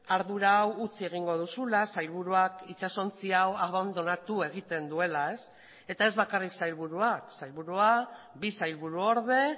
ardura hau utzi egingo duzula sailburuak itsasontzi hau abandonatu egiten duela eta ez bakarrik sailburuak sailburua bi sailburu orde